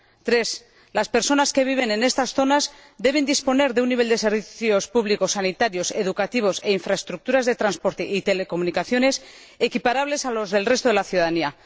En tercer lugar, las personas que viven en estas zonas deben disponer de un nivel de servicios públicos, sanitarios y educativos, así como de infraestructuras de transporte y telecomunicaciones, equiparable al del resto de la ciudadanía.